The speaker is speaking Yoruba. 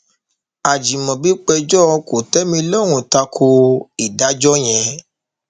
ajimobi péjọ kòtẹmilọrùn ta ko ìdájọ yẹn